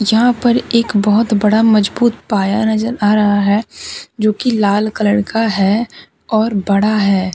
यहां पर एक बहोत बड़ा मजबूत पाया नजर आ रहा है जोकि लाल कलर का है और बड़ा है।